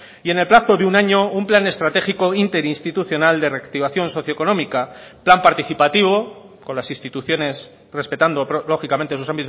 y en el plazo de un año un plan estratégico interinstitucional de reactivación socioeconómica plan participativo con las instituciones respetando lógicamente sus